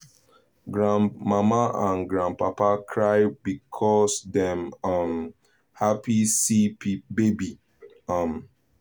grandmama and grandpapa cry because dem um happy see baby um